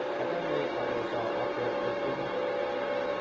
achamee akosoo okwek otienii.